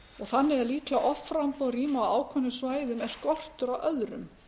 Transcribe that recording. þannig er líklega offramboð rýma á ákveðnum svæðum en skortur á öðrum